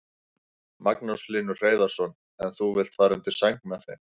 Magnús Hlynur Hreiðarsson: En þú vilt fara undir sæng með þeim?